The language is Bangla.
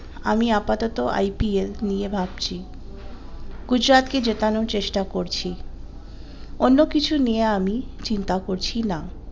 আমি আপাতত IPL নিয়ে ভাবছি গুজরাট কে জেতানোর চেষ্টা করছি অন্য কিছু নিয়ে আমি চিন্তা করছি না।